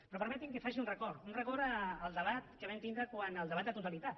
però permetin me que faci un record un record al debat que vam tindre en el debat de totalitat